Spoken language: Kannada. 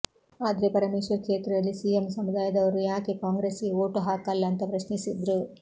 ಆದ್ರೆ ಪರಮೇಶ್ವರ್ ಕ್ಷೇತ್ರದಲ್ಲಿ ಸಿಎಂ ಸಮುದಾಯದವರು ಯಾಕೆ ಕಾಂಗ್ರೆಸ್ಗೆ ವೋಟ್ ಹಾಕಲ್ಲ ಅಂತ ಪ್ರಶ್ನಿಸಿದ್ರು